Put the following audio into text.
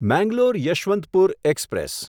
Mangalore Yesvantpur express